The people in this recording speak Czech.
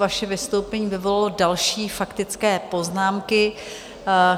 Vaše vystoupení vyvolalo další faktické poznámky.